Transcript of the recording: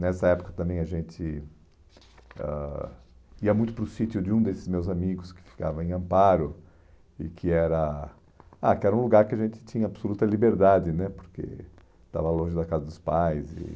Nessa época também a gente ãh ia muito para o sítio de um desses meus amigos que ficava em Amparo, e que era ah que um lugar que a gente tinha absoluta liberdade né, porque estava longe da casa dos pais. E